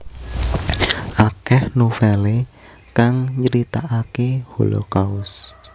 Akeh novele kang nyritakake Holocaust